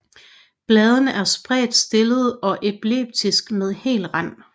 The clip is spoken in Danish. Bladene er spredt stillede og elliptiske med hel rand